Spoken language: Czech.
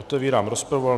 Otevírám rozpravu.